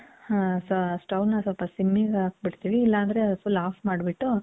Stove ನ ಸ್ವಲ್ಪ ಸಿಮ್ಮಿಗೆ ಹಾಕ್ಬಿಡ್ತೀವಿ. ಇಲ್ಲ ಅಂದ್ರೆ full ಆಫ್ ಮಾಡ್ಬಿಟ್ಟು,